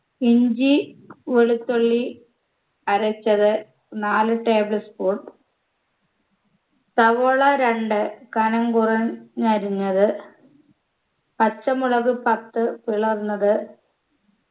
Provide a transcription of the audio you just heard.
ഇഞ്ചി വെളുത്തുള്ളി അരച്ചത് നാല് table spoon സവോള രണ്ട് കനം കുറഞ്ഞ് അരിഞ്ഞത് പച്ചമുളക് പത്ത് പിളർന്നത്